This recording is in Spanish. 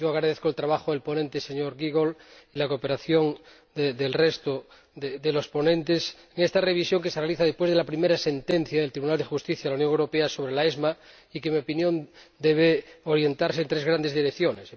Agradezco el trabajo del ponente, señor Giegold, y la cooperación del resto de los ponentes en esta revisión, que se realiza después de la primera sentencia del Tribunal de Justicia de la Unión Europea sobre la AEVM y que, en mi opinión, debe orientarse hacia tres grandes direcciones.